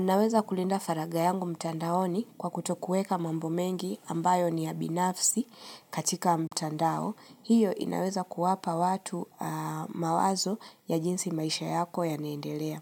Naweza kulinda faragha yangu mtandaoni kwa kutokueka mambo mengi ambayo ni ya binafsi katika mtandao. Hiyo inaweza kuwapa watu mawazo ya jinsi maisha yako yanaendelea.